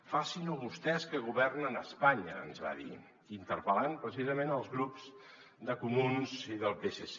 facin·ho vostès que go·vernen a espanya ens va dir interpel·lant precisament els grups de comuns i del psc